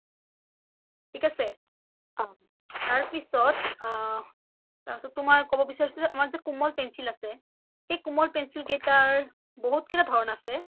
ঠিক আছে অ তাৰপিছত তুমাৰ ক’ব বিচাৰিচো তুমাৰ যে কোমাল pencil আছে সেই কোমাল pencil কেইটাৰ বহুত কেইটা ধৰণ আছে